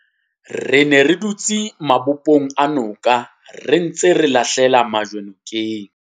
Re ne re dutse mabopong a noka re ntse re lahlela majwe ka nokeng.